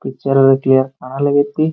Picture theatre ಖಾಲಿ ಐತಿ.